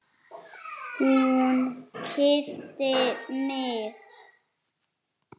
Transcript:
Hún kyssti mig!